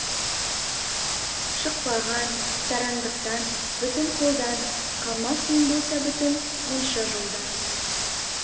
шықпаған сараңдықтан бүтін қолдан қалмас ең болса бүтін мұнша жолдан